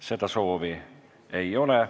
Kõnesoove ei ole.